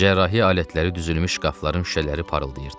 Cərrahi alətləri düzülmüş şkafların şüşələri parıldayırdı.